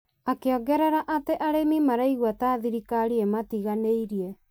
akĩongerera atĩ arĩmi maraigwa ta thirikari ĩmatiganĩirie.